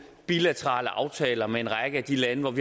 bilaterale aftaler med en række af de lande